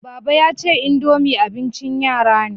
Baba ya ce, indomie abin ci yara ne